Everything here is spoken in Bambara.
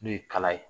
N'o ye kala ye